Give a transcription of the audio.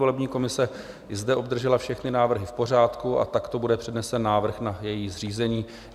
Volební komise i zde obdržela všechny návrhy v pořádku a takto bude přednesen návrh na její zřízení.